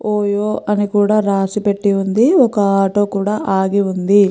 OYO అని కూడా రాసి పెట్టి ఉంది ఒక ఆటో కూడా ఆగి ఉంది.